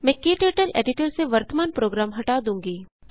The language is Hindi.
मैं क्टर्टल एडिटर से वर्तमान प्रोग्राम हटा दूँगी